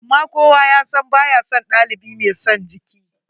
Amma kowa ya san ba ya son ɗalibi mai son jiki.